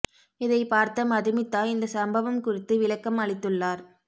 இதை பார்த்த மதுமிதா இந்த சம்பவம் குறித்து விளக்கம் அளித்துள்ளார்